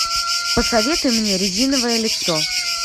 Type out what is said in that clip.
посоветуй мне резиновое лицо